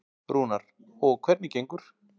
Rúnar: Og hvernig gengur?